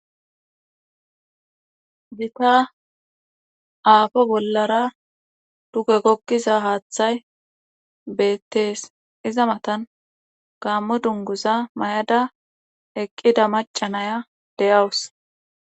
Gitta aafo bollara dugge gogiza haaththay beetees. iza matan gaamo dunguza mayada eqqiza macca nayiya de'awus